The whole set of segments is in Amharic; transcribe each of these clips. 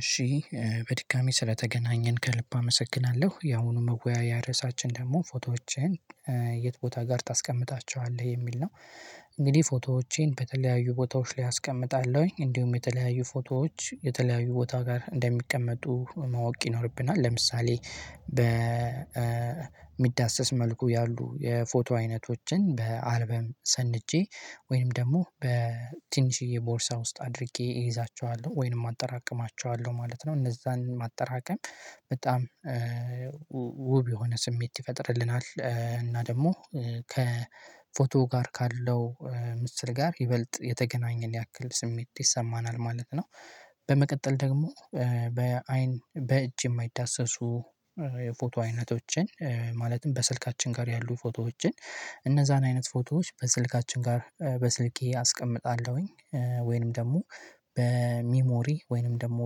እሺ በድጋሚ ስለተገናኘን ከልብ አመሰግናለሁ ያሁኑ መወያያ ርዕሳችን ደግሞ ፎቶዎችን? የት ቦታ ጋር ታስቀምጣቸዋለህ የሚል ነው። እንግዲህ ፎቶዎቼን በተለያዩ ቦታዎች ላይ አስቀምጣለሁኝ እንዲሁም የተለያዩ ፎቶዎች የተለያዩ ቦታ ጋር እንደሚቀመጡ ማወቅ ይኖርብናል። ለምሳሌ በሚዳሰስ መልኩ ያሉ የፎቶ አይነቶችን በአልበም ሰንጄ ወይንም ደግሞ በትንሽዬ ቦርሳ ውስጥ አድርጌ እይዛቸዋለሁ ወይንም አጠራቅማቸዋለሁ አለው ማለት ነው። እነዛን ማጠራቀም በጣም ውብ የሆነ ስሜት ይፈጥርልናል። እና ደግሞ ከፎቶ ጋር ካለው ምስል ጋር ይበልጥ የተገናኘን ያክል ስሜት ይሰማናል ማለት ነው። በመቀጠል ደግሞ በአይን በእጅ የማይዳሰሱ የፎቶ አይነቶችን ማለትም በስልካችን ጋር ያሉ ፎቶዎችን። እነዛን አይነት ፎቶዎች በስልካችን ጋር በስልኬ አስቀምጣለሁኝ። ወይንም ደግሞ በሚሞሪ ወይንም ደግሞ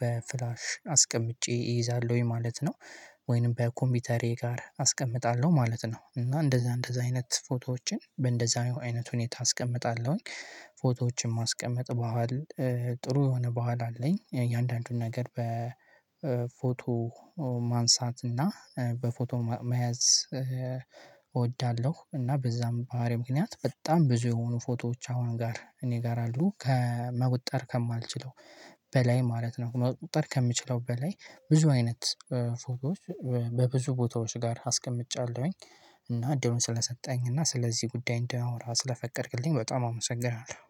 በፍላሽ አስቀምጬ እይዛለሁኝ ማለት ነው። ወይንም በኮምፒተሬ ጋር አስቀምጣለሁ ማለት ነው። እና እንደዛ እንደዛ አይነት ፎቶዎችን በእንደዛ አይነት ሁኔታ አስቀምጣለሁኝ። ፎቶዎቼን ማስቀመጥ በሀል ጥሩ የሆነ በኋላ አለኝ የእያንዳንዱን ነገር በፎቶ ማንሳት እና በፎቶ መያዝ እወዳለሁ። እና በዛም ባህሪ ምክንያት በጣም ብዙ የሆኑ ፎቶዎች አሁን ጋር እኔ ጋር አሉ ከመቁጠር ከማልችለው በላይ ማለት ነው። መቆጠር ከምችለው በላይ ብዙ አይነት ፎቶዎች በብዙ ቦታዎች ጋር አስቀምጫለሁኝ። እና እድሉን ስለሰጠኝ እና ስለዚህ ጉዳይ እንዳወራ ስለፈቀድክልኝ በጣም አመሰግናለሁ